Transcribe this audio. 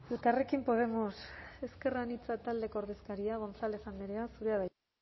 elkarrekin podemos ezker anitza taldeko ordezkaria gonzález andrea zurea da hitza